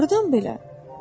Hardan belə?